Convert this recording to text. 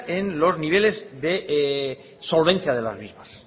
en los niveles de solvencia de las mismas